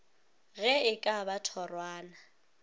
ge e ka ba thorwana